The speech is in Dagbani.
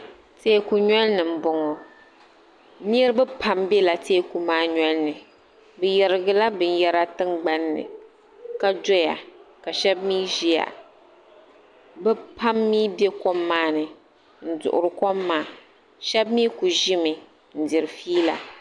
teeku noli ni m-bɔŋɔ niriba pam bela teeku maa noli ni bɛ yarigi la binyɛra tiŋgbani ni ka doya ka shɛba mi ʒiya bɛ pam mi be kom maa ni m-duɣiri kom maa shɛba mi kuli ʒimi n-diri fiila.